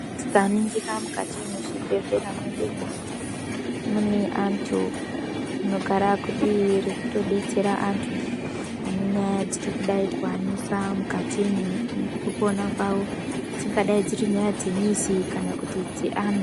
Tikaningira mukati mwechibhehlera mwedumo mune antu anogara kudii rekutodetsera antu ane nyaya dziri kudai kuwanisa mukati mwekupona kwawo dzingadai dziri nyaya dzemizi kana kuti dzeana.